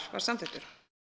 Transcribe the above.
var samþykktur